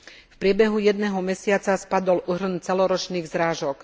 V priebehu jedného mesiaca spadol úhrn celoročných zrážok.